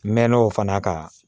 N mɛɛnna o fana kan